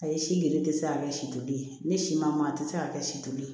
Ayi si giri tɛ se ka kɛ si toli ye ne si ma a tɛ se ka kɛ si to ye